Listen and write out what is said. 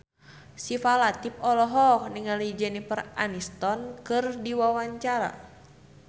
Syifa Latief olohok ningali Jennifer Aniston keur diwawancara